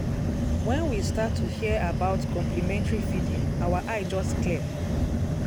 when we start to hear about complementary feeding our eye just clear.